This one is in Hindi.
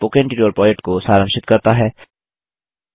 यह स्पोकन ट्यटोरियल प्रोजेक्ट को सारांशित करता है